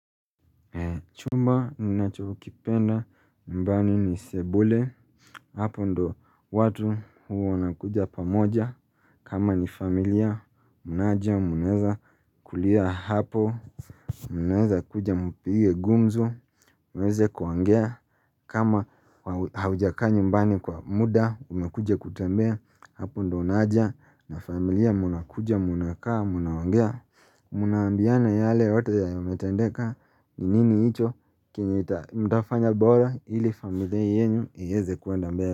Chumba ni nacho kipenda nyumbani ni sebule hapo ndo watu huwa unakuja pa moja kama ni familia mnaja mnaweza kulia hapo Muneza kuja mpige gumzo muweze kuongea kama haujakaa nyumbani kwa muda umekuja kutembea hapo ndo unaja na familia mnakuja mnakaa mnaongea mna ambiana yale yote yenyw yametendeka nini hichi chenye mtafanya bora ili familia yenu ieze kuenda mbele.